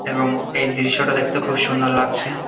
এবং এই দৃশ্যটা দেখতে খুব সুন্দর লাগছে ।